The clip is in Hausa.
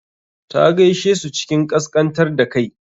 Ta gaishe su cikin ƙasƙantar da kai.